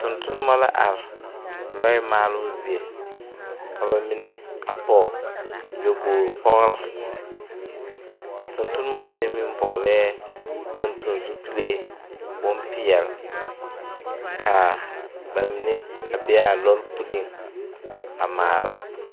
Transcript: Tontonnema la are lɔɛ maaloo zie ka ba mine a pɔge nyobogre pɔgre a tontonnema mine meŋ vɔglɛɛ tonton zupile bonpeɛle kaa ba mine a bee aa lɔre puleeŋ a maala.